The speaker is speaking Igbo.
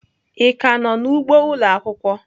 Ị ka nọ n'ugbo ụlọ akwụkwọ?